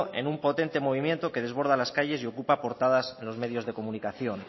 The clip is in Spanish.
en un potente movimiento que desborda las calles y ocupa portadas en los medios de comunicación